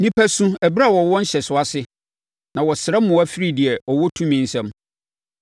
“Nnipa su ɛberɛ a wɔwɔ nhyɛsoɔ ase; na wɔsrɛ mmoa firi deɛ ɔwɔ tumi nsam.